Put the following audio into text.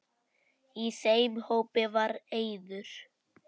Í þeim hópi var Eiður.